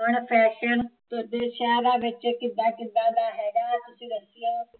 ਹੁਣ ਫੈਸ਼ਨ ਵਿਸ਼ਾ ਵਿੱਚ ਕਿੱਦਾਂ ਕਿੱਦਾਂ ਦਾ ਹੈਗਾ ਤੁਸੀਂ ਦੱਸਿਓ